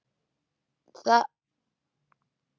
Og í þetta sinn var þetta örugglega íkveikja.